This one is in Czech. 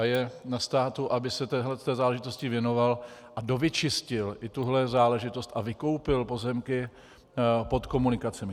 A je na státu, aby se téhle záležitosti věnoval a dovyčistil i tuhle záležitost a vykoupil pozemky pod komunikacemi.